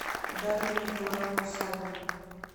дарью николаевну савину